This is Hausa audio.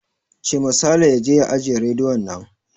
Cema Saleh ya je ya ajiye rediyon nan!